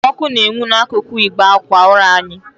Ọkụ na-enwu n'ákụ̀kụ̀ ịgbe ákwà ụra anyị.